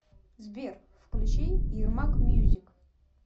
сбер включи ярмак мьюзик